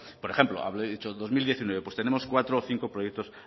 por ejemplo habré dicho en dos mil diecinueve pues tenemos cuatro o cinco proyectos